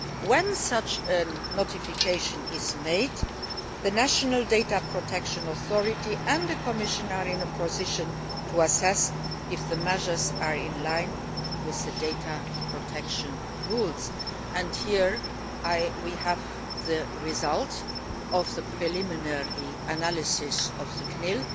When such notification is made, the national data protection authority and the Commission are in a position to assess if the measures are in line with data protection rules, and here we have the result of the preliminary analysis